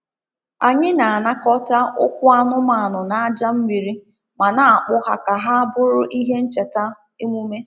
Anyị na-anakọta ụkwụ anụmanụ n’aja mmiri ma na-akpụ ha ka ha bụrụ ihe ncheta emume.